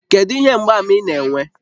Kedu ihe mgbaàmà ị na-enwe?